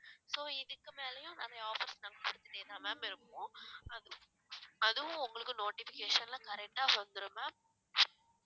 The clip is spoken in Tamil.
so இதுக்கு மேலயும் நிறைய offers நாங்க குடுத்துட்டே தான் ma'am இருப்போம் அதுவும் அதுவும் உங்களுக்கும் notification ல correct ஆ வந்துரும் ma'am